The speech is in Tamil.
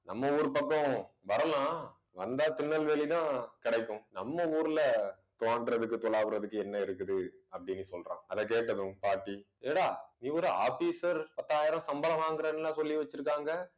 நம்ம ஊரு பக்கம் வரலாம் வந்தா திருநெல்வேலி தான் கிடைக்கும். நம்ம ஊர்ல தோண்டுறதுக்கு துலாவுறதுக்கு என்ன இருக்குது அப்பிடின்னு சொல்றான். அதை கேட்டதும் பாட்டி என்னடா நீ ஒரு officer பத்தாயிரம் சம்பளம் வாங்குறேன்ல சொல்லி வச்சிருக்காங்க